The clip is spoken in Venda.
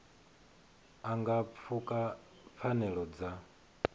a nga pfuka pfanelo dza